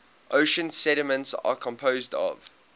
ocean sediments are composed of